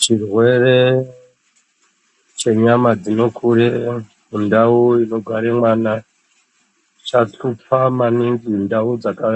Chirwere chenyama dzinokurire mundau inogare mwana chahlupa maningi ndau dzaka